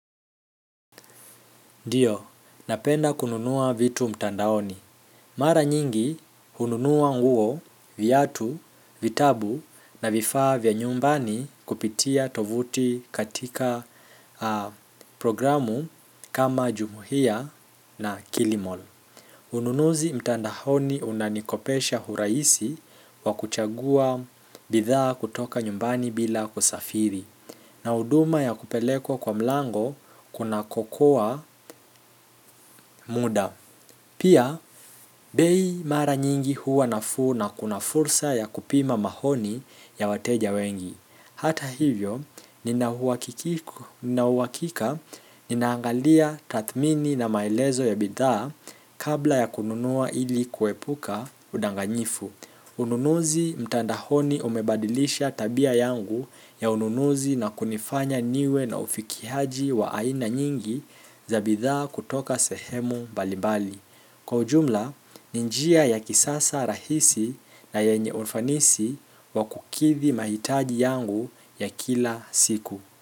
Ndiyo napenda kununua vitu mtandaoni mara nyingi, hununua nguo, viatu, vitabu na vifaa vya nyumbani kupitia tovuti katika programu kama Jumuhia na kilimall. Ununuzi mtandaoni unanikopesha urahisi wa kuchagua bidhaa kutoka nyumbani bila kusafiri. Na huduma ya kupelekwa kwa mlango kunakokoa muda pia, bei mara nyingi huwa nafuu na kuna fursa ya kupima maoni ya wateja wengi hata hivyo, nina uhakika ninaangalia tathmini na maelezo ya bidhaa kabla ya kununua ili kuepuka udanganyifu. Ununuzi mtandaoni umebadilisha tabia yangu ya ununuzi na kunifanya niwe na ufikiaji wa aina nyingi za bidhaa kutoka sehemu mbalimbali. Kwa ujumla, ni njia ya kisasa rahisi na yenye ufanisi wa kukidhi mahitaji yangu ya kila siku.